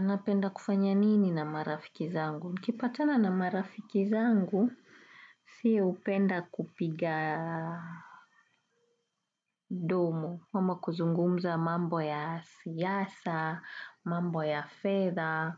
Napenda kufanya nini na marafiki zangu? Nikipatana na marafiki zangu, siye hupenda kupiga domo. Ama kuzungumza mambo ya siyasa, mambo ya fedha,